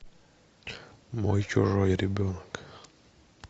мой чужой ребенок